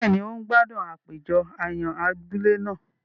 Béèni, o n gbádùn àpéjọ àyàn abúlé náà